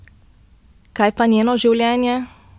Kaj pa njeno življenje?